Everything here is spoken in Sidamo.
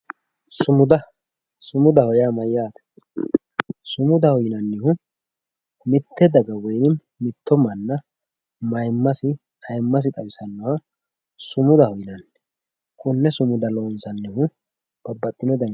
sumuda sumudaho yaa mayaate sumudaho yineemohu mitte dagawiini mitto manna mayiimasi ayiimasi xawisannoha simudaho yinanni konne sumuda loonsannihu babbaxino daniniiti.